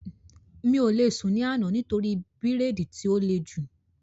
Mi ò lè sùn ní àná nítorí bírèèdì tí ó le jù